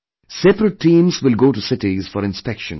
Separate teams will go to cities for inspection